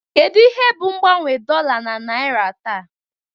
Kedu ihe bụ mgbanwe dollar na naira taa?